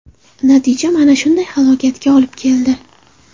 Natija mana shunday halokatga olib keldi.